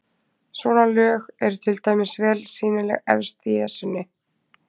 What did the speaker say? Svona lög eru til dæmis vel sýnileg efst í Esjunni.